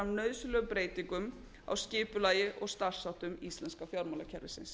nauðsynlegum breytingum á skipulagi og starfsháttum íslenska fjármálakerfisins